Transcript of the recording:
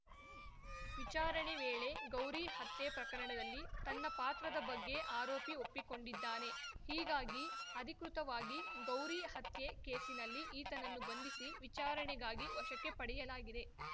ವಿಚಾರಣೆ ವೇಳೆ ಗೌರಿ ಹತ್ಯೆ ಪ್ರಕರಣದಲ್ಲಿ ತನ್ನ ಪಾತ್ರದ ಬಗ್ಗೆ ಆರೋಪಿ ಒಪ್ಪಿಕೊಂಡಿದ್ದಾನೆ ಹೀಗಾಗಿ ಅಧಿಕೃತವಾಗಿ ಗೌರಿ ಹತ್ಯೆ ಕೇಸಿನಲ್ಲಿ ಈತನನ್ನು ಬಂಧಿಸಿ ವಿಚಾರಣೆಗಾಗಿ ವಶಕ್ಕೆ ಪಡೆಯಲಾಗಿದೆ